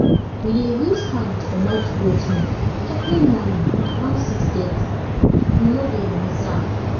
we dey use hand comot goat milk every morning around 630 we no dey miss am